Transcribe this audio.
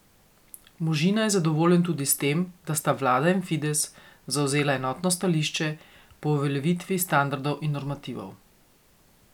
Možina je zadovoljen tudi s tem, da sta vlada in Fides zavzela enotno stališče po uveljavitvi standardov in normativov.